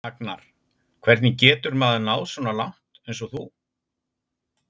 Agnar:: Hvernig getur maður náð svona langt eins og þú?